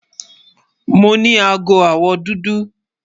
Mo ní àágọ̀-ọwọ́ dúdú.